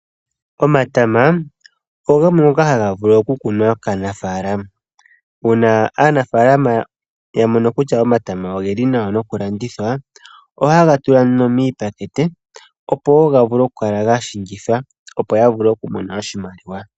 Omatama ogamwe ngoka haga vulu oku kunwa kaanafalama. Uuna aanafalama ya mono kutya omatama ogeli nawa no kulandithwa, ohaye ga tula nduno miipakete, opo wo ga vule ga shingithwa opo wo ya vule okumona mo oshimaliwa.